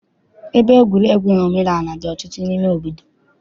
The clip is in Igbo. Ebe egwuregwu omenaala dị ọtụtụ n'ime obodo.